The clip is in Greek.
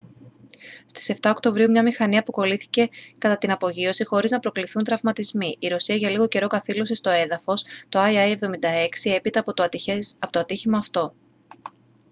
στις 7 οκτωβρίου μια μηχανή αποκολλήθηκε κατά την απογείωση χωρίς να προκληθούν τραυματισμοί η ρωσία για λίγο καιρό καθήλωσε στο έδαφος το il-76 έπειτα από το ατύχημα αυτό